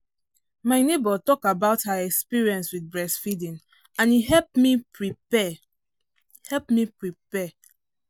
my neighbor talk about her experience with breast feeding and e help me prepare help. me prepare.